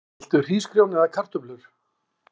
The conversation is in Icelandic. Viltu hrísgrjón eða kartöflur?